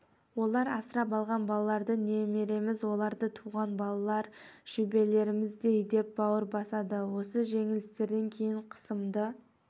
олар асырап алған балаларды немереміз олардан туған балалар шөбереміздей деп бауыр басады осы жеңілістерден кейін қысымды